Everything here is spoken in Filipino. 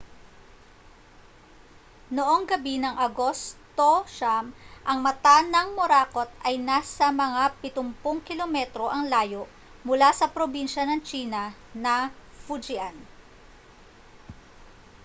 noong gabi ng agosto 9 ang mata ng morakot ay nasa mga pitumpung kilometro ang layo mula sa probinsya ng tsina na fujian